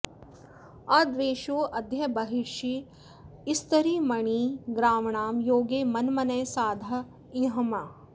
अद्वेषो अद्य बर्हिषः स्तरीमणि ग्राव्णां योगे मन्मनः साध ईमहे